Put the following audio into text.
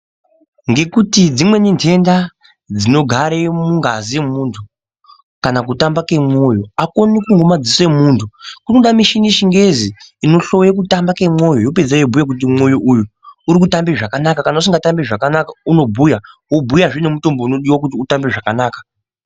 Ngekuti dzimweni nhenda dzinogare mungazi yemuntu, kana kutamba kemoyo akuoneki ngemadziso emuntu, kunoda michini yechingezi inohloye kutamba kwemwoyo, yapedzepo yobhuye kuti mwoyo uyu urikutambe zvakanaka. Kana isikatambi zvakanaka unobhuya, wobhuyazve nemutombo unodiwa kuti utambe zvakanaka.